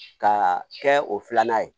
Ka kɛ o filanan ye